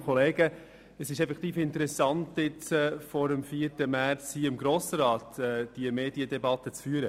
Es ist effektiv interessant, jetzt, vor dem 4. März, hier im Grossen Rat diese Medien debatte zu führen.